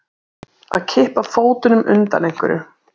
Að kippa fótunum undan einhverju